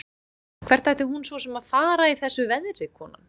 Hvert ætti hún svo sem að fara í þessu veðri, konan?